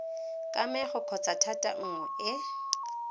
kamego kgotsa thata nngwe e